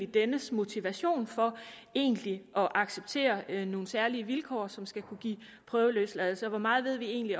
dennes motivation for egentlig at acceptere nogle særlige vilkår som skal kunne give prøveløsladelse og hvor meget vi egentlig